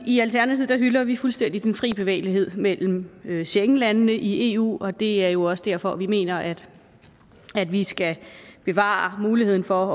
i alternativet hylder vi fuldstændig den frie bevægelighed mellem mellem schengenlandene i eu og det er jo også derfor at vi mener at vi skal bevare muligheden for